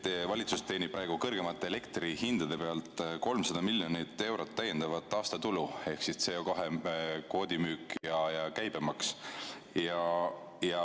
Teie valitsus teenib praegu kõrgemate elektrihindade pealt 300 miljonit eurot täiendavat aastatulu, see on CO2 kvoodi müük ja käibemaks.